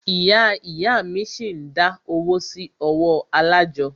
Ìyá ìyá a mí ṣi ń dá owó sí ọwọ́ alájọ́.